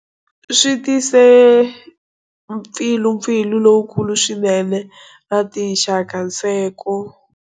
Swi tise mpfilumpfilu lowukulu swinene na tinxakanseko.